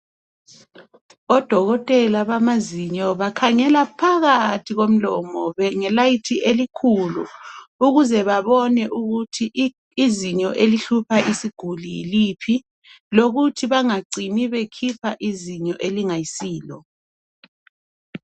Odokotela bamazinyo bakhangela phakathi komlomo ngesibane esikhulu ukuze babone ukuthi izinyo elihlupha isiguli yiliphi lokuthi bengacini bekhipha izinyo elingasilo